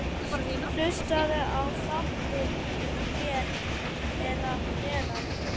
Hlustaðu á þáttinn hér að neðan.